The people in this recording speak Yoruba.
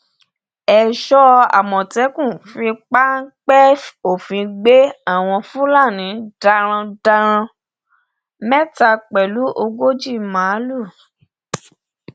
èso àmọtẹkùn fi páńpẹ òfin gbé àwọn fúlàní darandaran mẹta pẹlú ogójì màálùú